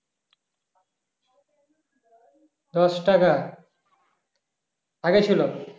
দশ টাকা আগে ছিল